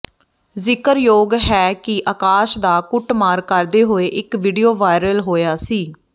ਜ਼ਿਕਰਯੋਗ ਹੈ ਕਿ ਆਕਾਸ਼ ਦਾ ਕੁੱਟਮਾਰ ਕਰਦੇ ਹੋਏ ਇਕ ਵੀਡੀਓ ਵਾਇਰਲ ਹੋਇਆ ਸੀ